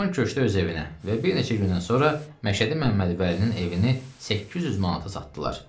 Şaban köçdü öz evinə və bir neçə gündən sonra Məşədi Məmmədvəlinin evini 800 manata satdılar.